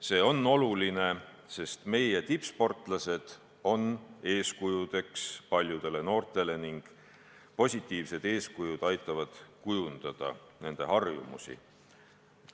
See on oluline, sest meie tippsportlased on eeskujuks paljudele noortele – positiivsed eeskujud aitavad kujundada nende harjumusi.